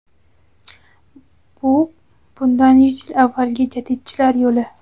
Bu bundan yuz yil avvalgi jadidchilar yo‘li.